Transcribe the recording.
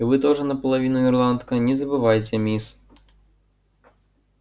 и вы тоже наполовину ирландка не забывайте мисс